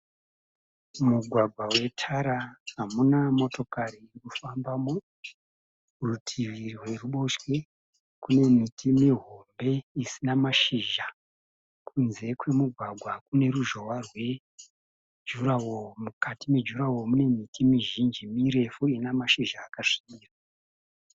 mugwagwa wetara hamuna motkari inofambamo. Rutivi rweruboshwe kune miti mihombe isina mashizha. Kunze kwemugwagwa kune ruzhohwa rwejuraho. Mukati mejurahoro mizhinji ine mashizha akasvibira.